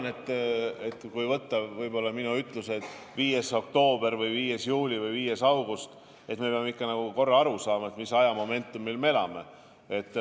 Ma arvan, et muidugi võib võtta minu ütlused 5. oktoobril või 5. juulil või 5. augustil, aga me peame ikkag aru saama, mis ajamomendil me elame.